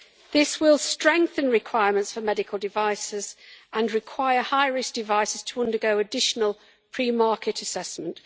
This will strengthen requirements for medical devices, and require high risk devices to undergo additional pre market assessment.